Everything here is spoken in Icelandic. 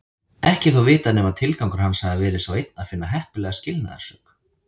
Ekki er þó vitað nema tilgangur hans hafi verið sá einn að finna heppilega skilnaðarsök.